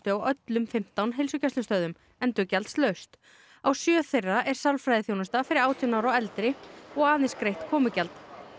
á öllum fimmtán heilsugæslustöðvunum endurgjaldslaust á sjö þeirra er sálfræðiþjónusta fyrir átján ára og eldri og aðeins greitt komugjald